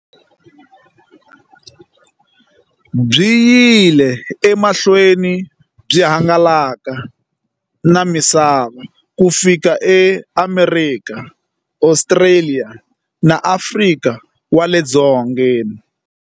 Byi yile emahlweni byi hangalaka na misava ku fika eAmerika, Ostraliya na Afrika wale dzongeni.